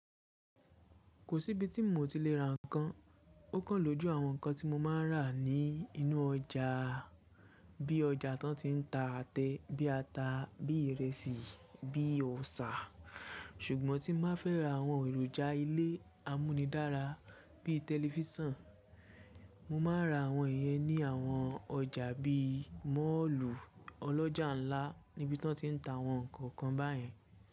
Kò sí ibi tí mo ti lè ra ǹkan. Ó kan lójú àwọn ǹkan tí mo máa ń rà ní inú ọjà, bí ọjà tán ti ń ta àtẹ, bí ata, bí ìrẹsì, bí ọsà. Ṣùgbọ́n tí mo bá fẹ́ ra àwọn èròjà ilé amúnidára bí tẹlifísàn, mo máa ra àwọn ìyẹn ní àwọn ọjà bí mọ̀ọ́lù ọlọ́jà ńlá níbi tí wọ́n ti ń ta àwọn nǹkan báyìí.